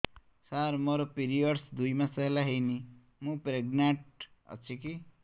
ସାର ମୋର ପିରୀଅଡ଼ସ ଦୁଇ ମାସ ହେଲା ହେଇନି ମୁ ପ୍ରେଗନାଂଟ ଅଛି କି